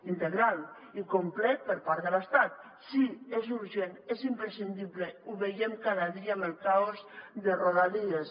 integral i complet per part de l’estat sí és urgent és imprescindible ho veiem cada dia amb el caos de rodalies